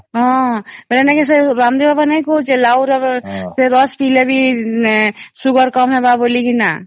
ହଁ ବୋଲେ ନେଇକି ସେ ରାମଦେବ ବାବା ନାଇଁ କହୁଛେ ଲାଉ ର ସେ ରସ ପିଇଲେ ବି sugar କମ ହେବ ବୋଲି କିନା